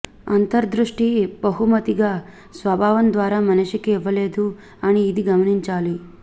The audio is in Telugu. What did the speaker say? అంతర్దృష్టి బహుమతిగా స్వభావం ద్వారా మనిషికి ఇవ్వలేదు అని ఇది గమనించాలి